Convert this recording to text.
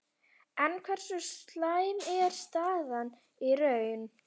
En hversu slæm er staðan í raun?